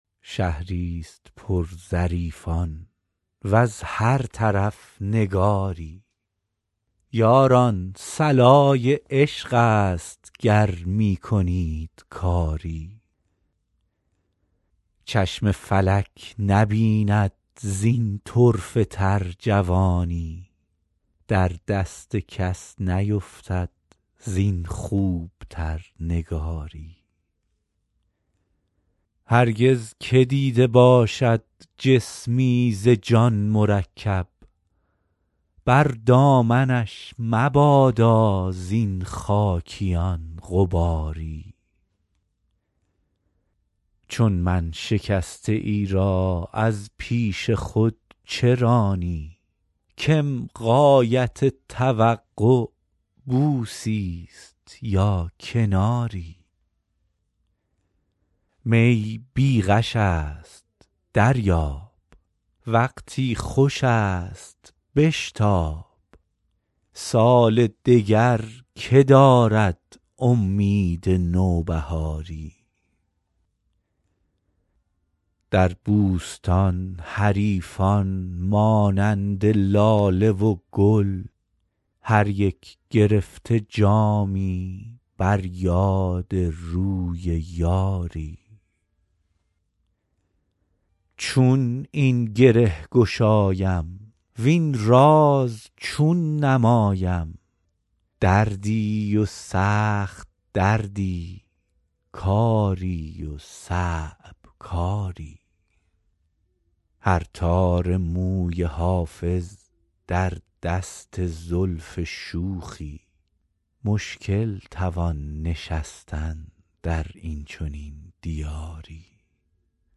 شهری ست پر ظریفان وز هر طرف نگاری یاران صلای عشق است گر می کنید کاری چشم فلک نبیند زین طرفه تر جوانی در دست کس نیفتد زین خوب تر نگاری هرگز که دیده باشد جسمی ز جان مرکب بر دامنش مبادا زین خاکیان غباری چون من شکسته ای را از پیش خود چه رانی کم غایت توقع بوسی ست یا کناری می بی غش است دریاب وقتی خوش است بشتاب سال دگر که دارد امید نوبهاری در بوستان حریفان مانند لاله و گل هر یک گرفته جامی بر یاد روی یاری چون این گره گشایم وین راز چون نمایم دردی و سخت دردی کاری و صعب کاری هر تار موی حافظ در دست زلف شوخی مشکل توان نشستن در این چنین دیاری